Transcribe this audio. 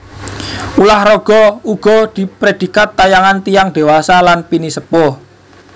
Ulah raga iku uga diprèdikat tayangan tiyang dewasa lan pinisepuh